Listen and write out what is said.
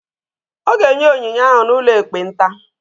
Ọ ga-enye onyinye ahụ n'ụlọ ekpenta.